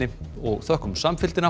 og þökkum samfylgdina